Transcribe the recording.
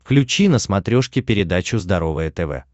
включи на смотрешке передачу здоровое тв